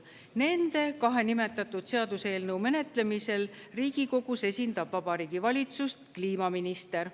Nende kahe nimetatud seaduseelnõu menetlemisel Riigikogus esindab Vabariigi Valitsust kliimaminister.